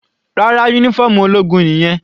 Rárá, uniform ológun nìyẹn.